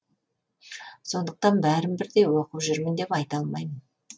сондықтан бәрін бірдей оқып жүрмін деп айта алмаймын